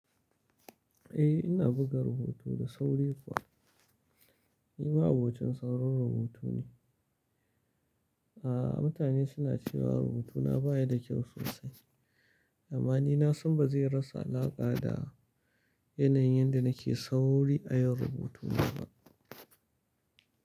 Eh, ina buga rubutu da sauri kuwa, ni ma abokin saurin rubutu ne. A'a mutane suna cewa rubutuna baya da kyau sosai, amma ni na san ba zai rasa alaƙa da yanayin da nake sauri a yin rubutuna ba.